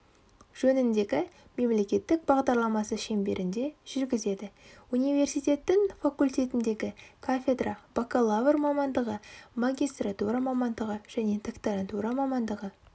жөніндегі мемлекеттік бағдарламасы шеңберінде жүргізеді университеттің факультетіндегі кафедра бакалавр мамандығы магистратура мамандығы және докторантура мамандығы